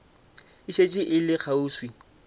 e šetše e le kgauswi